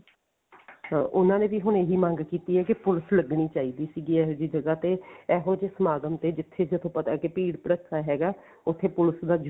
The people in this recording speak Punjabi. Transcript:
ਹਾਂ ਉਹਨਾ ਨੇ ਵੀ ਹੁਣ ਇਹੀ ਮੰਗ ਕੀਤੀ ਹੈ ਕਿ ਪੁਲਸ ਲੱਗਣੀ ਚਾਹੀਦੀ ਸੀਗੀ ਏਹੋ ਜਿਹੀ ਜਗ੍ਹਾ ਤੇ ਇਹੋ ਜਿਹੇ ਸਮਾਗਮ ਤੇ ਜਿੱਥੇ ਜਦੋਂ ਪਤਾ ਕਿ ਭੀੜ ਭੜਕਾ ਹੈਗਾ ਉੱਥੇ ਪੁਲਸ ਦਾ